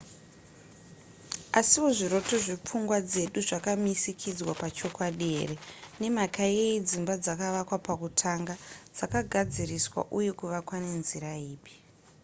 asiwo zviroto zvepfungwa dzedu zvakamisikidzwa pachokwadi here? nemhaka yeyi dzimba dzakavakwa pakutanga? dzakagadziriswa uye kuvakwa nenzira ipi ?